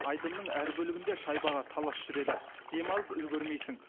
айдынның әр бөлігінде шайбаға талас жүреді демалып үлгермейсің